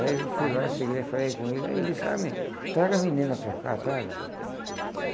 Aí eu fui lá, cheguei e falei com ele, aí ele disse, ah menino, traga a menina para cá, traga.